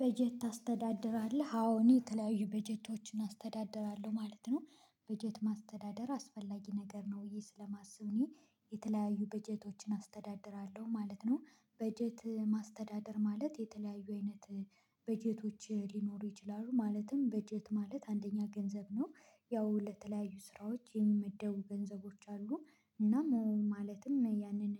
በጀት ታስተዳድራለህ አዎ እኔ የተለያዩ በጀቶችን አስተዳድራለሁ ማለት ነው። በጀት ማስተዳደር አስፈላጊ ነገር ነው ብዬ ስለማስብ እኔ የተለያዩ በጀቶችን አስተዳድራለሁ ማለት ነው። በጀት ማስተዳደር ማለት የተለያዩ አይነት በጀቶች ሊኖሩ ይችላሉ ማለትም በጀት ማለት አንደኛ ገንዘብ ነው። ያው ለተለያዩ ስራዎች የሚመደቡ ገንዘቦች አሉ እና ማለትም ያንን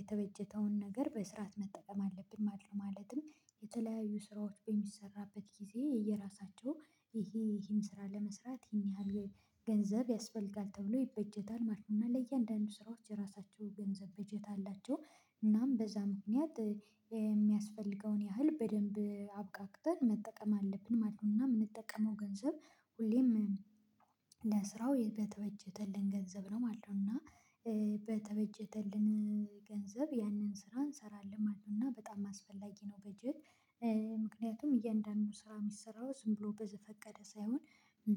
የተበጀተውን ነገር በስርዓት መጠቀም አለብን ማለት ነው። ማለትም የተለያዩ ስራዎች በሚሰራበት ጊዜ የየራሳቸው ይሄ ይሄን ስራ ለመስራት ይሄን ያህል ገንዘብ ያስፈልጋል ተብሎ ይበጀታል ማለት ነው እና ለእያንዳንዱ ስራዎች የራሳቸው ገንዘብ በጀት አላቸው። እናም በዛ ምክንያት የሚያስፈልገውን ያህል በደንብ አብቃቅተን መጠቀም አለብን ማለት ነው እና የምንጠቀመው ገንዘብ ሁሌም ለስራው በተበጀተልን ገንዘብ ነው ማለት ነው። እና በተበጀተልን ገንዘብ ያንን ስራ እንሰራለን እና በጣም አስፈላጊ ነው። በጀት ምክንያቱም እያንዳንዱ ስራ የሚሰራው ዝም ብሎ በዘፈቀደ ሳይሆን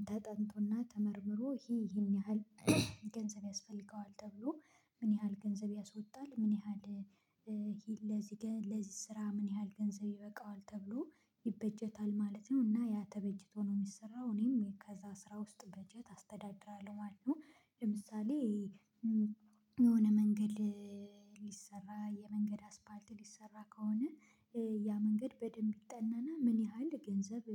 ተጠንቶና ተመርምሮ ይሄ ይሄን ያህል ገንዘብ ያስፈልገዋል ተብሎ ምን ያህል ገንዘብ ያስወጣል ምን ያህል ለዚህ ለዚህ ስራ ምን ያህል ገንዘብ ይበቃዋል ተብሎ ይበጀታል ማለት ነው። እና ያ ተበጅቶ ነው የሚሰራው እኔም ከዛ ስራ ውስጥ በጀት አስተዳድራለሁ ማለት ነው። ለምሳሌ የሆነ መንገድ ሊሰራ የመንገድ አስፓልት ሊሰራ ከሆነ ያ መንገድ በደንብ ይጠናና ምን ያህል ገንዘብ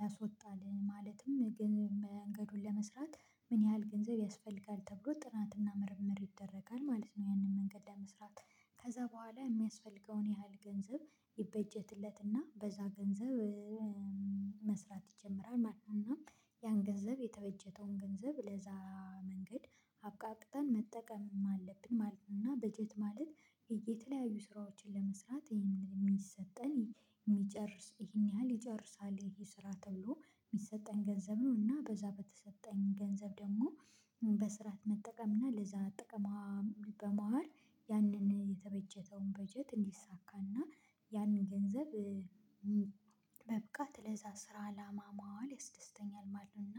ያሶጣል ማለትም ግን መንገዱን ለመስራት ምን ያህል ገንዘብ ያስፈልጋል ተብሎ ጥናትና ምርምር ይደረጋል ማለት ነው። ያንን መንገድ ለመስራት ከዛ በኋላ የሚያስፈልገውን ያህል ገንዘብ ይበጀትለትና በዛ ገንዘብ መስራት ይጀምራል ማለት ነው። እና ያን ገንዘብ የተበጀተውን ገንዘብ ለዛ መንገድ አብቃቅተን መጠቀምም አለብን ማለት ነው። እና በጀት ማለት የተለያዩ ስራዎችን ለመስራት ይሄንን የሚሰጠን የሚጨርስ ይሄን ያህል ይጨርሳል ይሄ ስራ ተብሎ የሚሰጠን ገንዘብ ነው እና በዛ በተሰጠኝ ገንዘብ ደግሞ በስርዓት መጠቀም እና ለዛ ጥቅማ በመዋል ያንን የተበጀተውን በጀት እንዲሳካና ያንን ገንዘብ በብቃት ለዛ ስራ አላማ መዋል ያስደስተኛል ማለት ነው። እና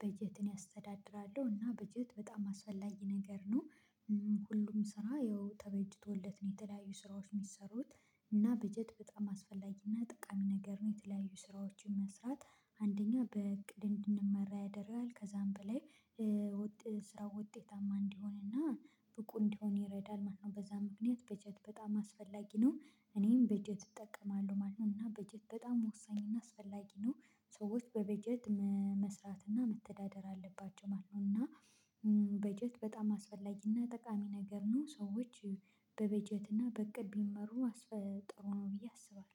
በጀትን ያስተዳድራለሁ እና በጀት በጣም አስፈላጊ ነገር ነው። ሁሉም ስራ ይኸው ተበጅቶለት ነው የተለያዩ ስራዎች የሚሰሩት እና በጀት በጣም አስፈላጊ እና ጠቃሚ ነገር ነው። የተለያዩ ስራዎችን መስራት አንደኛ በእቅድ እንድንመራ ያደርጋል ከዛም በላይ ውጤታማ እንዲሆንና ብቁ እንዲሆን ይረዳል ማለት ነው። በዛ ምክንያት በጀት በጣም አስፈላጊ ነው። እኔም በጀት እጠቀማለሁ ማለት ነው እና በጀት በጣም ወሳኝ እና አስፈላጊ ነው። ሰዎች በበጀት መስራት እና መተዳደር አለባቸው ማለት ነው እና በጀት በጣም አስፈላጊ እና ጠቃሚ ነገር ነው። ሰዎች በበጀት እና በእቅድ ቢመሩ አስፈጥሮ ነው ብዬ አስባለሁ